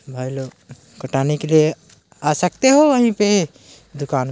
भाई लोग कटाने के लिए आ सकते हो वही पे दुकान--